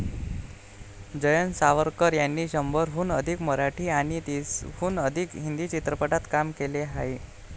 जयंत सावरकर यांनी शंभरहून अधिक मराठी आणि तीसहून अधिक हिंदी चित्रपटात कामे केली आहेत.